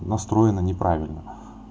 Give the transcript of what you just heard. настроена неправильно